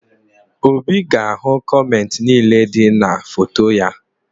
Obi ga-ahụ kọmentị niile dị na foto ya